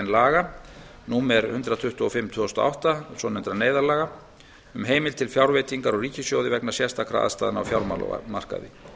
laga númer hundrað tuttugu og fimm tvö þúsund og átta svonefndra neyðarlaga um heimild til fjárveitingar úr ríkissjóði vegna sérstakra aðstæðna á fjármálamarkaði